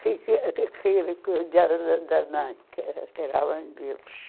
da da mãe, que era que era a mãe deles.